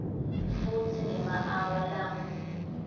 futsi ngemaawa langu